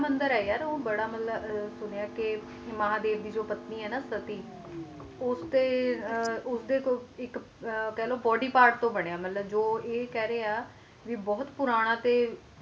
ਮੰਦਿਰ ਹੈ ਗਿ ਬੜਾ ਸੁੰਨੀਆਂ ਕ ਮਹਾਦੇਵ ਜੀ ਜੈਰੀ ਪਤਨੀ ਹੈ ਨਾ ਸੱਤੀ ਉਹ ਉਸ ਦੇ ਕਹਿ ਲੋ ਬੋਡੀ ਪਾਰ੍ਟ ਤੋਂ ਬੰਨਿਆ ਇਕ ਕਹਿ ਰਹੇ ਬੋਹਤ ਪੂਰਨ ਹੈ